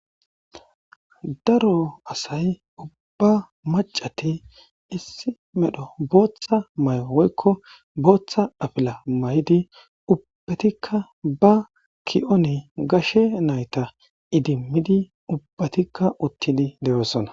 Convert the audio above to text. Daro asay ubba macat issi medho bootha mayo woyko bootha apila mayid ubbatika ba ki'on gashe nayta idimid ubbatika utid de'osona.